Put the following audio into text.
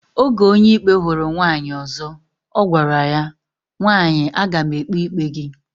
Oge Onyeikpe huru nwaanyi ozo, ogwara ya, nwaanyi agam ekpe ikpe gi